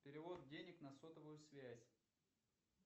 перевод денег на сотовую связь